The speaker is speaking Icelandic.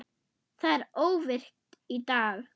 Það er óvirkt í dag.